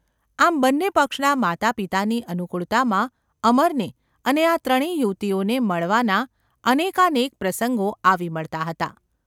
આમ બન્ને પક્ષના માતા પિતાની અનુકૂળતામાં અમરને અને આ ત્રણે યુવતીઓને મળવાના અનેકાનેક પ્રસંગો આવી મળતા હતા.